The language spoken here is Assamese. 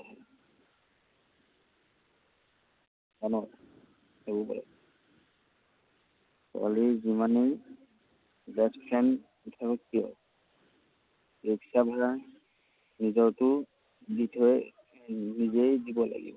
জান? সেইবোৰেই। ছোৱালী যিমানেই best friend নাথাকক কিয়, ৰিক্সা ভাড়া নিজৰটো নিজৰেই। নিজেই দিব লাগিব।